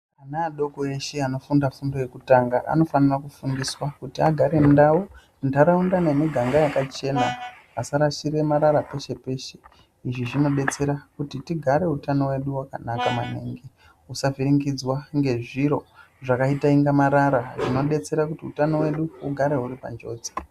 Ana adoko eshe anofunda fundo yekutanga anofana kufundiswa kuti agare ndau nharaunda nemiganga yakachena asarashire marara peshe peshe izvi zvinobetsera kuti tigare utano hwedu hwugare hwakanaka maningi husavhiringidzwa ngezviro zvakaita marara xvinobetsera kuti utano hwedu hugare huri panjodzi .